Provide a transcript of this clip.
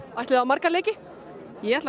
ætliði á marga leiki ég ætla á